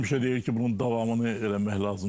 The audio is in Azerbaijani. Həmişə deyir ki, bunun davamını eləmək lazımdır.